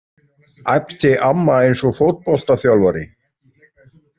æpti amma eins og fótboltaþjálfari.